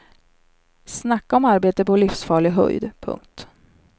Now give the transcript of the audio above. Snacka om arbete på livsfarlig höjd. punkt